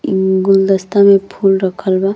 ई गुलदस्ता मे फूल रखल बा।